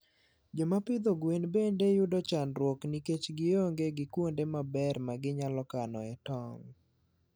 Joma pidho gwen bende yudo chandruok nikech gionge gi kuonde maber ma ginyalo kanoe tong'.